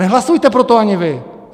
Nehlasujte pro to ani vy!